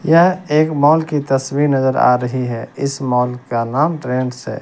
यह एक मॉल की तस्वीर नजर आ रही है इस मॉल का नाम ट्रेंड्स है।